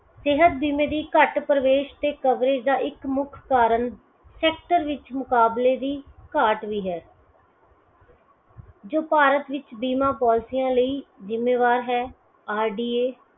ਸਿਹਤ ਬੀਮੇ ਦੀ ਘੱਟ ਪਰਵੇਸ਼ ਤੇ ਕਵਰੇਜ ਦਾ ਇਕ ਮੁੱਖ ਕਾਰਨ sector ਵਿਚ ਮੁਕਾਬਲੇ ਦੀ ਘਾਟ ਵੀ ਹੈ। ਜੋ ਭਾਰਤ ਵਿਚ ਬੀਮਾ Polcies ਲਈ ਜ਼ਿੰਮੇਵਾਰ ਹੈ RDA ।